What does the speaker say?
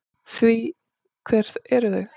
Því hver eru þau?